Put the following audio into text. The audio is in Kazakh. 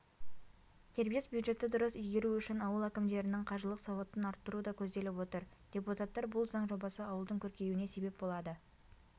дербес бюджетті дұрыс игеру үшін ауыл әкімдерінің қаржылық сауатын арттыру да көзделіп отыр депутаттар бұл заң жобасы ауылдың көркеюіне себеп болады